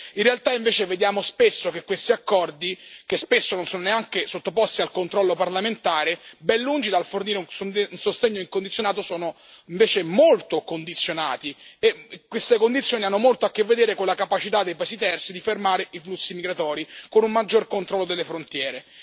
In realtà, invece, vediamo spesso che questi accordi, che spesso non sono neanche sottoposti al controllo parlamentare, ben lungi dal fornire un sostegno incondizionato, sono invece molto condizionati, e queste condizioni hanno molto a che vedere con la capacità dei paesi terzi di fermare i flussi migratori, con un maggior controllo delle frontiere.